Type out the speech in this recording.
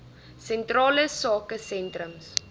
sentrale sake sentrums